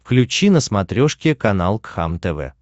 включи на смотрешке канал кхлм тв